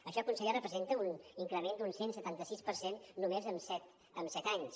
això conseller representa un increment d’un cent i setanta sis per cent només en set anys